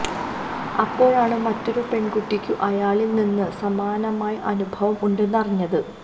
അപ്പോഴാണ് മറ്റൊരു പെണ്കുട്ടിക്കും അയാളില് നിന്ന് സമാനമായ അനുഭവം ഉണ്ടെന്ന് അറിഞ്ഞത്